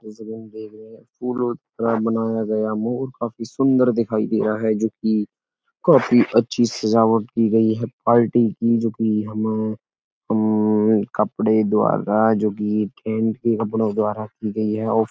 जैसे कि हम देख रहे हैं फूलों द्वारा बनाया गया मोर काफी सुंदर दिखाई दे रहा है जो कि काफी अच्छी सजावट की गई है पार्टी की जो कि हमें कपड़े द्वारा जो कि टेंट के कपड़ों द्वारा की गई है और --